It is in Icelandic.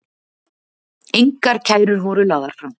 Engar kærur voru lagðar fram